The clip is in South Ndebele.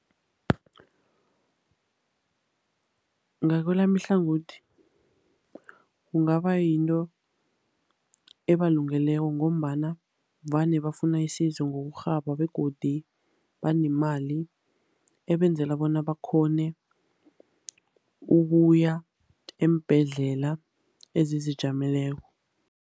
Ngakwelami ihlangothi, kungaba yinto ebalungeleko ngombana vane bafuna isizo ngokurhaba, begodu banemali, ebenzela bona bakghone ukuya eembhedlela ezizijameleko.